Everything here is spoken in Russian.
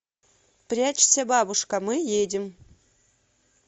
прячься бабушка мы едем